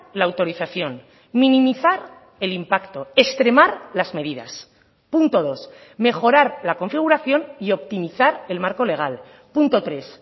la autorización minimizar el impacto extremar las medidas punto dos mejorar la configuración y optimizar el marco legal punto tres